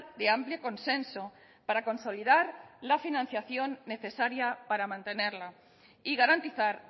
de amplio consenso para consolidar la financiación necesaria para mantenerla y garantizar